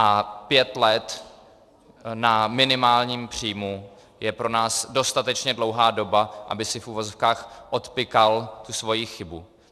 A pět let na minimálním příjmu je pro nás dostatečně dlouhá doba, aby si v uvozovkách odpykal tu svoji chybu.